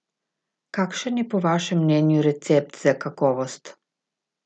Kakšen je po vašem mnenju recept za kakovost?